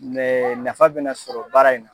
nafa bɛna sɔrɔ baara in na.